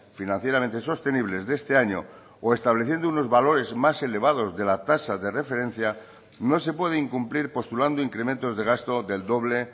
financieramente sostenibles de este año o estableciendo unos valores más elevados de la tasa de referencia no se puede incumplir postulando incrementos de gasto del doble